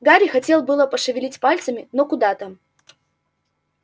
гарри хотел было пошевелить пальцами но куда там